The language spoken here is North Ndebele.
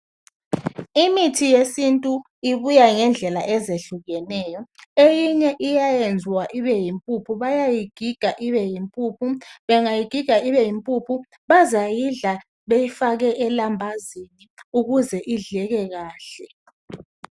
Imithi yesintu ibuya ngendlela ezehlukeneyo eyinye iyayenzwa ibeyimpuphu bayayigiga ibe yimpuphu bengayigiga ibe yimpuphu bazayidla beyifake elambazini ukuze idleke kahle.